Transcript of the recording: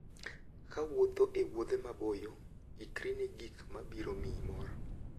Kawuotho e wuodhe maboyo, ikri ne gik ma biro miyi mor.